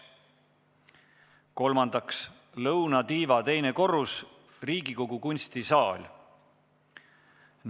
Kolmandaks lõunatiiva teine korrus, Riigikogu kunstisaal.